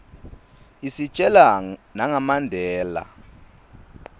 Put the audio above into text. isitjela nanga mandela